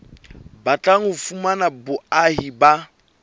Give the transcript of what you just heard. batlang ho fumana boahi ba